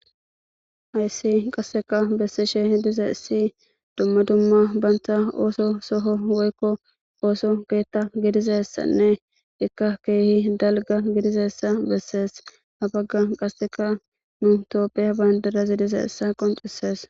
Haysi qasseka bessishe hidiza issi dumma dumma bantha ooso soho woykko ooso keetta gidizessanne ikka keehi dalga gidizessa bessees habagga qaseka nu tooppheya bandirazi diza issa qoncisees.